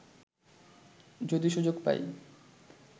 যদি সুযোগ পাই